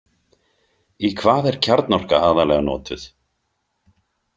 Í hvað er kjarnorka aðallega notuð?